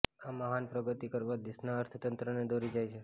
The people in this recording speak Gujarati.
આ મહાન પ્રગતિ કરવા દેશના અર્થતંત્રને દોરી જાય છે